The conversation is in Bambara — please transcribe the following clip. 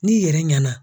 N'i yɛrɛ ɲɛna